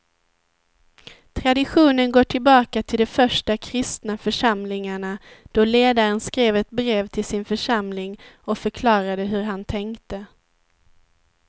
Traditionen går tillbaka till de första kristna församlingarna då ledaren skrev ett brev till sin församling och förklarade hur han tänkte.